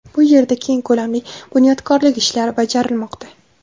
Bu yerda keng ko‘lamli bunyodkorlik ishlari bajarilmoqda.